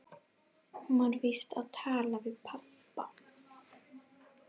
Hún var víst að tala við pabba.